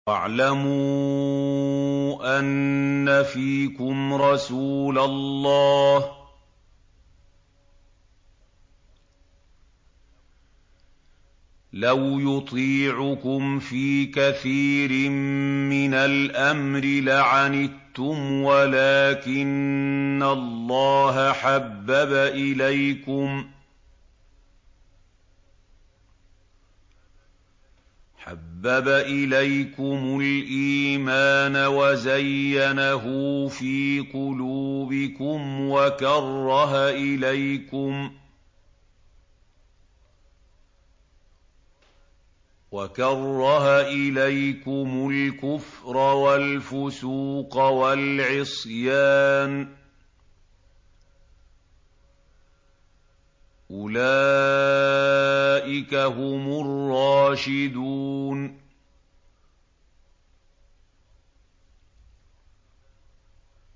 وَاعْلَمُوا أَنَّ فِيكُمْ رَسُولَ اللَّهِ ۚ لَوْ يُطِيعُكُمْ فِي كَثِيرٍ مِّنَ الْأَمْرِ لَعَنِتُّمْ وَلَٰكِنَّ اللَّهَ حَبَّبَ إِلَيْكُمُ الْإِيمَانَ وَزَيَّنَهُ فِي قُلُوبِكُمْ وَكَرَّهَ إِلَيْكُمُ الْكُفْرَ وَالْفُسُوقَ وَالْعِصْيَانَ ۚ أُولَٰئِكَ هُمُ الرَّاشِدُونَ